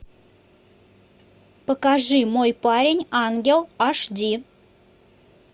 покажи мой парень ангел аш ди